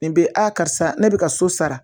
Nin bɛ a karisa ne bɛ ka so sara